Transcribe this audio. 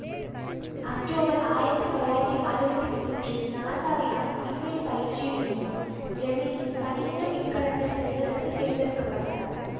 October ஆயிரத்தி தொள்ளாயிரத்தி அறுவத்தி மூன்றில் நாசாவினால் விண்வெளி பயிற்சியில் இணைந்தார் ஜெமினி பனிரெண்டு விண்கலத்தில் செல்வதற்கு தேர்ந்தெடுக்க பட்டார்